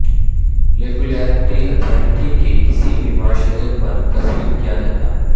regulatory authority کے کسی بھی معاشرے پر تسلیم کیا جاتا ہے